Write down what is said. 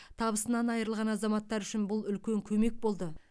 табысынан айырылған азаматтар үшін бұл үлкен көмек болды